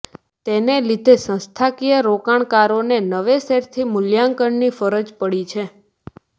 તેને લીધે સંસ્થાકીય રોકાણકારોને નવેસરથી મૂલ્યાંકનની ફરજ પડી છે